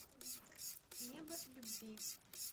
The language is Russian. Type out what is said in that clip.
небо любви